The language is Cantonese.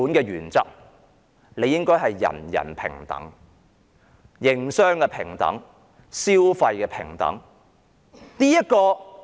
原本的情況理應是人人平等、營商平等、消費平等的。